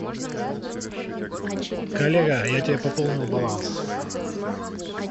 коллега я тебе пополнил баланс